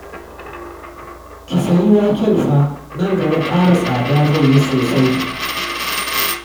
Ki sayi waken fa, nan gaba ƙara tsada zai yi sosai